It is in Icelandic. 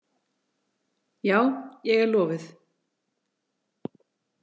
Já, ég er lofuð.